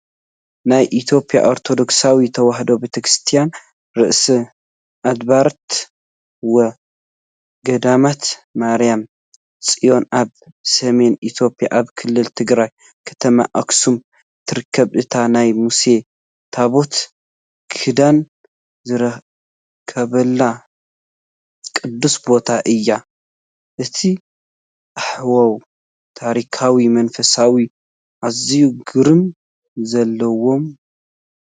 ናይ ኢትዮጵያ ኦርቶዶክሳዊት ተዋህዶ ቤተክርስትያን "ርእሰ ኣድባራት ወ-ገዳማት ማርያም ጽዮን" ኣብ ሰሜን ኢትዮጵያ ኣብ ክልል ትግራይ ከተማ ኣክሱም ትርከብ። እታ ናይ ሙሴ ታቦት ኪዳን ዝርከበሉ ቅዱስ ቦታ እዩ። እቲ ሃዋህው ታሪኻውን መንፈሳውን ኣዝዩ ግርማ ዘለዎን።